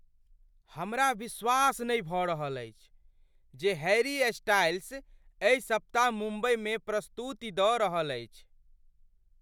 हमरा विश्वास नहि भऽ रहल अछि जे हैरी स्टाइल्स एहि सप्ताह मुम्बईमे प्रस्तुति दऽ रहल अछि।